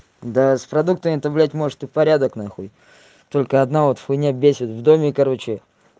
да с продуктами то блядь может и порядок нахуй только одна вот хуйня бесит в доме короче